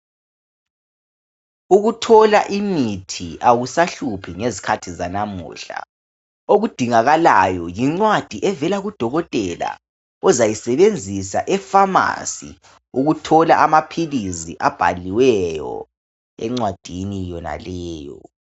Ukuthola imuthi akusahluphi ngezikhathi zanamuhla, okudingakalayo yincwadi evela kudokotela ozayisebenzisa efamasi ukuthola amaphilisi abhaliweyo encwadini yonaleyo.